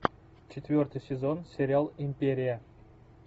четвертый сезон сериал империя